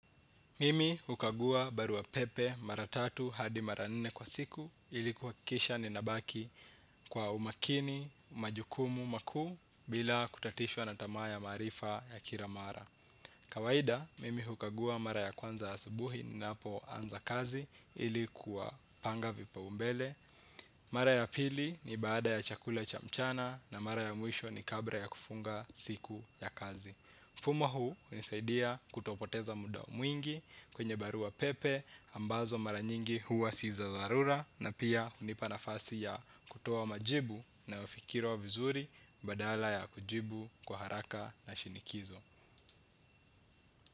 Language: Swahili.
Mimi hukagua barua pepe maratatu hadi mara nne kwa siku ili kuwakisha ni nabaki kwa umakini, majukumu, maku bila kutatishwa na tama ya marifa ya kira mara. Kawahida, mimi hukagua mara ya kwanza asubuhi ninapo anza kazi ili kuwapanga vipaumbele. Mara ya pili ni baada ya chakula cha mchana na mara ya muisho ni kabra ya kufunga siku ya kazi. Fumo huu unisaidia kutopoteza muda mwingi kwenye barua pepe ambazo maranyingi huwa si za darura na pia unipa nafasi ya kutowa majibu na wafikiro vizuri badala ya kujibu kwa haraka na shinikizo.